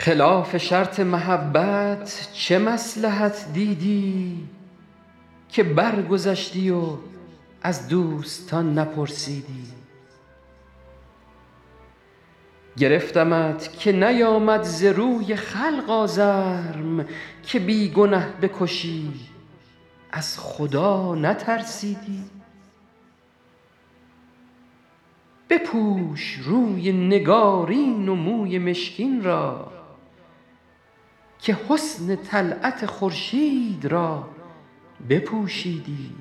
خلاف شرط محبت چه مصلحت دیدی که برگذشتی و از دوستان نپرسیدی گرفتمت که نیآمد ز روی خلق آزرم که بی گنه بکشی از خدا نترسیدی بپوش روی نگارین و موی مشکین را که حسن طلعت خورشید را بپوشیدی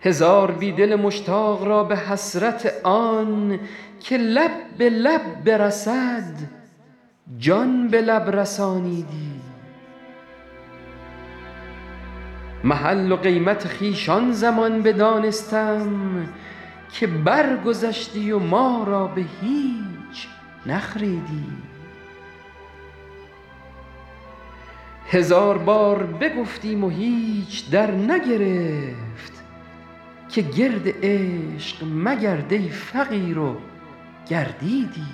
هزار بی دل مشتاق را به حسرت آن که لب به لب برسد جان به لب رسانیدی محل و قیمت خویش آن زمان بدانستم که برگذشتی و ما را به هیچ نخریدی هزار بار بگفتیم و هیچ درنگرفت که گرد عشق مگرد ای فقیر و گردیدی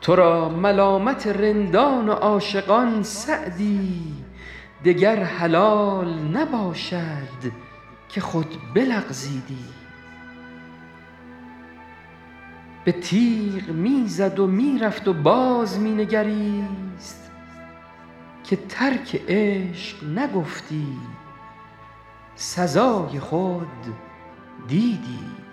تو را ملامت رندان و عاشقان سعدی دگر حلال نباشد که خود بلغزیدی به تیغ می زد و می رفت و باز می نگریست که ترک عشق نگفتی سزای خود دیدی